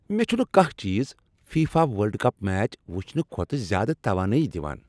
مےٚ چھُنہٕ كانہہ چیز فیفا ورلڈ کپ میچ وُچھنہٕ كھوتہٕ زیادٕ توانٲیی دوان۔